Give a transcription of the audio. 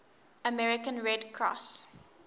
american red cross